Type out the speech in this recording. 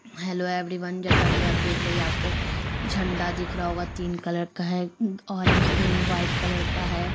Hello everyone जैसा की आप देख रहे हैं ये आप को झंडा दिख रहा होगा जो तीन कलर का है uh orange green white colour का है।